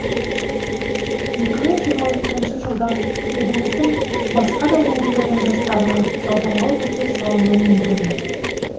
екі мың жиырма екінші жылдан еліміздің басқа да өңірлерінің жастарына жалдамалы пәтер салынуы мүмкін